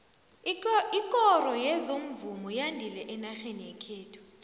ikoro yezomvumo yandile enarheni yekhethu